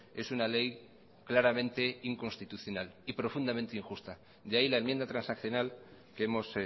es una ley claramente inconstitucional y profundamente injusta de ahí la enmienda transaccional que hemos